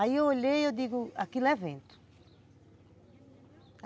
Aí eu olhei e digo, aquilo é vento.